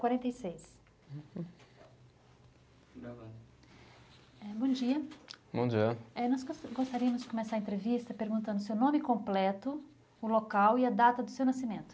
Quarenta e seis. Gravando. Eh, bom dia. Bom dia. Eh nós gos, gostaríamos de começar a entrevista perguntando o seu nome completo, o local e a data do seu nascimento.